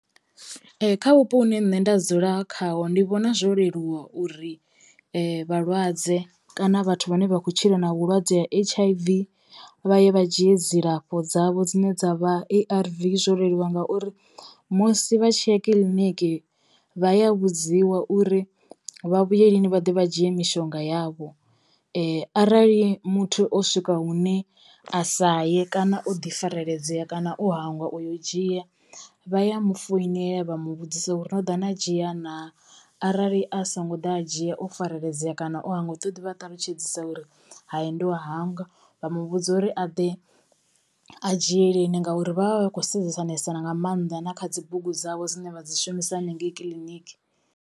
Ee kha vhupo hune nṋe nda dzula khaho ndi vhona zwo leluwa uri vhalwadze kana vhathu vhane vha kho tshila na vhulwadze ha H_I_V vha ye vha dzhie dzilafho dzavho dzine dza vha A_R_V, zwo leluwa ngauri musi vha tshiya kiḽiniki vha ya vhudziwa uri vha vhuye lini vha ḓe vha dzhie mishonga yavho. Arali muthu o swika hune a sa ye kana o ḓi fareledzea kana o hangwa uyo dzhia vha ya mu foinela vha mu vhudzisa uri no ḓa na dzhia naa. Arali a songo ḓa a dzhia o fareledzea kana o hangwa u ḓo ḓi vha ṱalutshedzisa uri hai ndo hangwa vha mu vhudza uri a ḓe a dzhie lini ngauri vhavha vha khou sedzanesa nga mannḓa na kha dzi bugu dzawe dzine vha dzi shumisa hanengei kiḽiniki.